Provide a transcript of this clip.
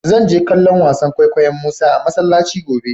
Zan je kallo'n wasan kwaikwayo'n Musa a masallaci gobe.